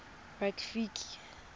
rafiki